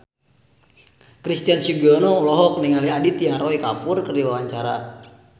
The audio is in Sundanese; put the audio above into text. Christian Sugiono olohok ningali Aditya Roy Kapoor keur diwawancara